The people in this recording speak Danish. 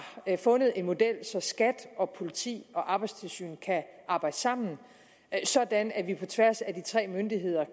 har fundet en model så skat og politi og arbejdstilsyn kan arbejde sammen sådan at vi på tværs af de tre myndigheder